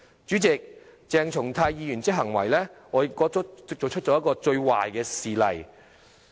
主席，鄭松泰議員的行為，我覺得是作出了一個最壞的示例。